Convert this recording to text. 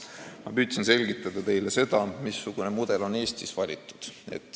Ma püüdsin teile selgitada, missugune mudel on Eestis valitud.